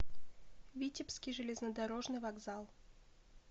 витебский железнодорожный вокзал